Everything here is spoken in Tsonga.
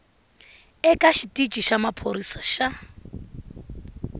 eka xitici xa maphorisa xa